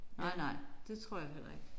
Nej nej det tror jeg heller ikke